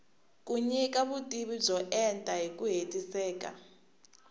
yi nyika vutivi byo enta hiku hetiseka